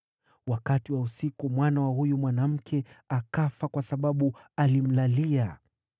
“Wakati wa usiku mwana wa huyu mwanamke akafa kwa sababu alimlalia.